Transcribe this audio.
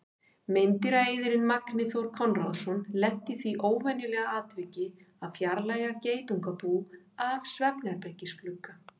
Meindýraeyðirinn Magni Þór Konráðsson lenti í því óvenjulega atviki að fjarlægja geitungabú af svefnherbergisglugga.